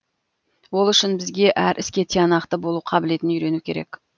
ол үшін бізге әр іске тиянақты болу қабілетін үйрену керек